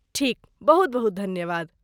ठीक! बहुत बहुत धन्यवाद।